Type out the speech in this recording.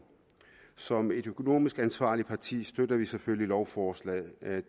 som et økonomisk ansvarligt parti støtter vi selvfølgelig lovforslaget